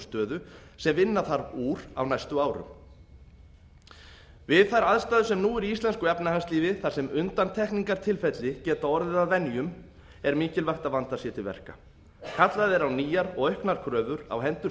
stöðu sem vinna þarf úr á næstu árum við þær aðstæður sem nú eru í íslensku efnahagslífi þar sem undantekningartilfelli geta orðið að venjum er mikilvægt að vandað sé til verka kallað er á nýjar og auknar kröfur á hendur